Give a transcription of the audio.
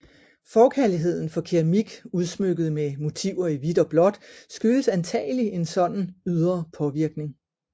Forkærligheden for keramik udsmykket med motiver i hvidt og blåt skyldes antagelig en sådan ydre påvirkning